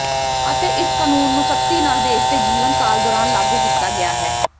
ਅਤੇ ਇਸ ਕਾਨੂੰਨ ਨੂੰ ਸਖਤੀ ਨਾਲ ਦੇਸ਼ ਦੇ ਜੀਵਨ ਕਾਲ ਦੌਰਾਨ ਲਾਗੂ ਕੀਤਾ ਗਿਆ ਹੈ